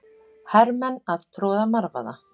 Hermenn að troða marvaða.